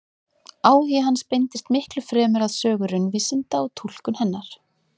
Áhugi hans beindist miklu fremur að sögu raunvísinda og túlkun hennar.